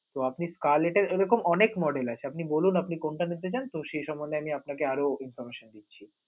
তো আপনি collect এর এ রকম অনেক model আছে. আপনি বলুন আপনি কোনটা নিতে চান, তো সেই সমন্ধে আমি আপনাকে আরও information দিচ্ছি.